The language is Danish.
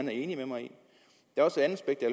er enig med mig